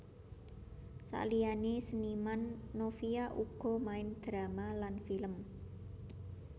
Saliyané seniman Novia uga main drama lan film